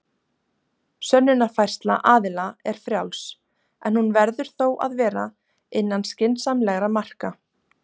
Sönnunarfærsla aðila er frjáls, en hún verður þó að vera innan skynsamlegra marka.